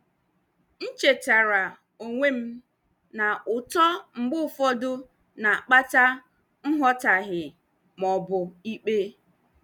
M chetaara onwe m na uto mgbe ụfọdụ na-akpata nghọtahie ma ọ bụ ikpe.